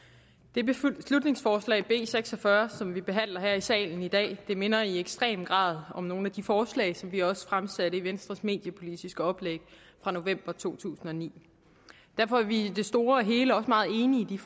det beslutningsforslag b seks og fyrre som vi behandler her i salen i dag minder i ekstrem grad om nogle af de forslag som vi også fremsatte i venstres mediepolitiske oplæg fra november to tusind og ni derfor er vi i det store og hele også meget enige i